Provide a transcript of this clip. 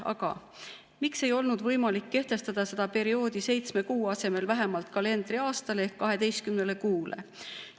Aga miks ei olnud võimalik kehtestada seda perioodi seitsme kuu asemel vähemalt kalendriaastaks ehk 12 kuuks?